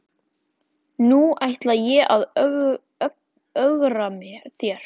Nú ætla ég að ögra þér.